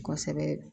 Kosɛbɛ